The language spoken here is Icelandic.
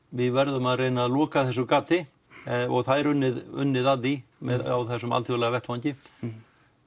við verðum að reyna að loka þessu gat og það er unnið unnið að því á þessum alþjóðlega vettvangi